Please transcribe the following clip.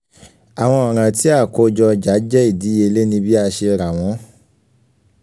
àwọn ọ̀ràn tí akojo ọ̀jà jẹ ìdíyèlé ní bí aṣe ra wọn